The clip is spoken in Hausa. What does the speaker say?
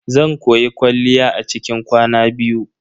Zan koyi kwalliya a cikin kwana biyu.